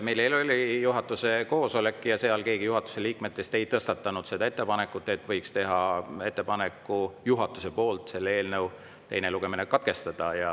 Meil eile oli juhatuse koosolek ja seal keegi liikmetest ei tõstatanud seda ettepanekut, et juhatus võiks teha ettepaneku selle eelnõu teine lugemine katkestada.